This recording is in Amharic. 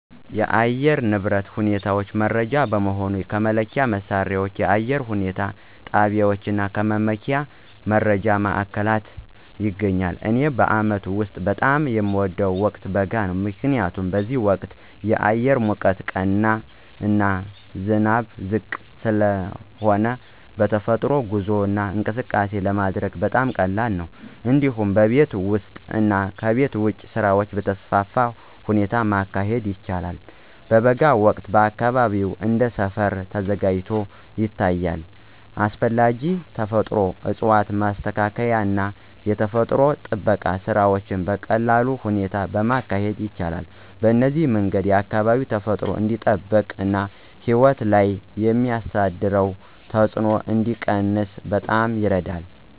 የአየር ንብረት ሁኔታ መረጃ በመሆኑ ከመለኪያ መሣሪያዎች፣ የአየር ሁኔታ ጣቢያዎች እና ከመመኪያ መረጃ ማዕከላት ይገኛል። እኔ በአመቱ ውስጥ በጣም የሚወደው ወቅት በጋ ነው። ምክንያቱም በዚህ ወቅት አየር ሙቀት ቀና እና ዝናብ ዝቅ ስለሆነ በተፈጥሮ ጉዞ እና እንቅስቃሴ ለማድረግ በጣም ቀላል ነው። እንዲሁም ቤት ውስጥ እና ቤት ውጭ ስራዎችን በተስፋፋ ሁኔታ ማካሄድ ይቻላል። በጋ ወቅት አካባቢው እንደ ሰፈር ተዘጋጅቶ ይታያል፣ አስፈላጊ ተፈጥሮ እፅዋትን ማስተካከል እና የተፈጥሮ ጥበቃ ስራዎችን በቀላል ሁኔታ ማካሄድ ይቻላል። በዚህ መንገድ አካባቢ ተፈጥሮ እንዲጠበቅ እና ሕይወት ላይ የሚያሳደረው ተጽዕኖ እንዲቀነስ በጣም ይረዳል።